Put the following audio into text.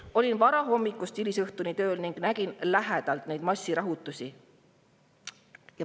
Ma olin varahommikust hilisõhtuni tööl ning nägin neid massirahutusi lähedalt.